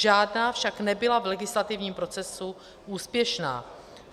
Žádná však nebyla v legislativním procesu úspěšná.